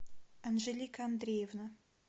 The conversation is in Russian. анжелика андреевна